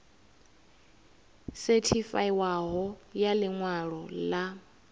sethifaiwaho ya ḽi ṅwalo ḽa